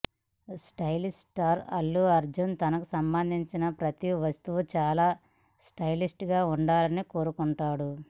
stylish star Allu Arjun తనకు సంబంధించిన ప్రతీ వస్తువు చాలా స్టైలిష్ గా ఉండాలని కోరుకుంటాడు